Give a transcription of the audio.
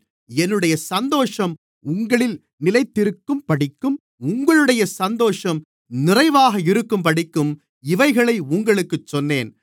என்னுடைய சந்தோஷம் உங்களில் நிலைத்திருக்கும்படிக்கும் உங்களுடைய சந்தோஷம் நிறைவாக இருக்கும்படிக்கும் இவைகளை உங்களுக்குச் சொன்னேன்